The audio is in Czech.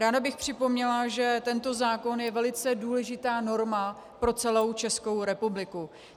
Ráda bych připomněla, že tento zákon je velice důležitá norma pro celou Českou republiku.